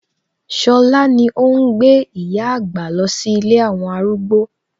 Ṣọlá ni óhún gbé ìyá àgbà lọ sí ilé àwọn arúgbó